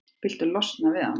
Viltu losna við hana?